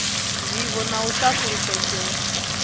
vivho na u sa fulufhela